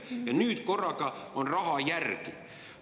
Ja nüüd korraga on raha järel.